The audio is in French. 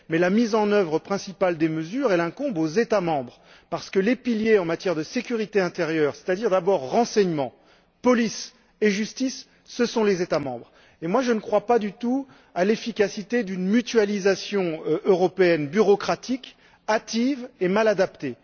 Toutefois, la mise en œuvre principale de ces mesures incombe aux États membres parce que les piliers en matière de sécurité intérieure c'est à dire le renseignement, la police et la justice ce sont les États membres. Je ne crois pas du tout à l'efficacité d'une mutualisation européenne bureaucratique, hâtive et mal adaptée.